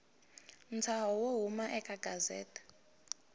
ntshaho wo huma eka gazette